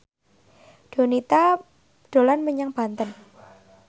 Donita dolan menyang Banten